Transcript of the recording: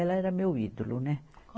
Ela era meu ídolo, né?